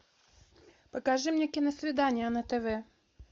покажи мне киносвидание на тв